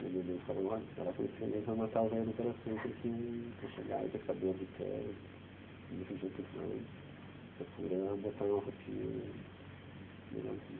E a minha mãe falou, olha, tu vai lá conhecer eles, vai matar o velho do coração, porque vai chegar aí com esse cabelo de pé, assim, desse jeito que tu anda, procura botar uma roupinha legalzinha.